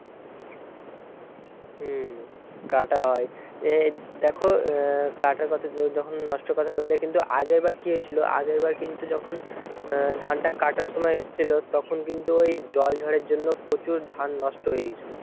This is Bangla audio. হম কাটা হয় এ দেখো আহ কাটার কথা যখন নষ্ট কথা বললে কিন্তু আগেরবার কি হয়েছিল আগেরবার কিন্তু যখন আহ ধানটা কাটার সময় এসছিল তখন কিন্তু ওই জল ঝড়ের জন্য প্রচুর ধান নষ্ট হয়ে গেছিল।